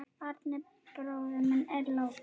Árni bróðir minn er látinn.